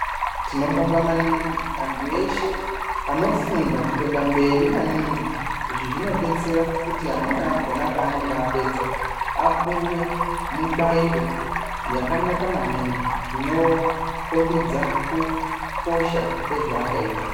Tinobonga manhingi antu eshe anofunda kuenda mberi manhingi. Izvi zvinobetsera amweni akona paanenge apedza apuwe mubairo yakanaka manhingi inokombidza kukosha kwezvaakaita.